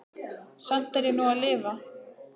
Samt er ég nú að lifa.